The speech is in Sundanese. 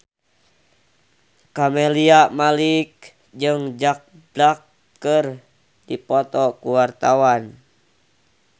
Camelia Malik jeung Jack Black keur dipoto ku wartawan